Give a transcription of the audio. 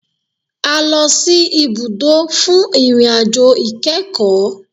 A lọ sì ibùdó fún ìrìn àjò ìkẹ́kọ̀.